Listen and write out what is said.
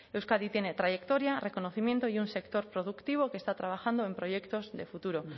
euskadi tiene trayectoria reconocimiento y un sector productivo que está trabajando en proyectos de futuro